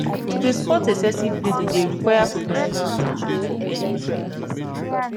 to dey spot excessive bleeding dey require professional at ten tion for early pregnancy